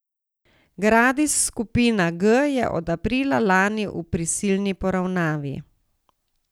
Gradis skupina G je od aprila lani v prisilni poravnavi.